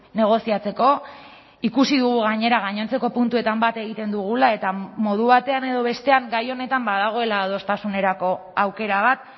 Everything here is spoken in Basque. negoziatzeko ikusi dugu gainera gainontzeko puntuetan bat egiten dugula eta modu batean edo bestean gai honetan badagoela adostasunerako aukera bat